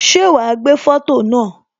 Ṣé wá gbé foto náà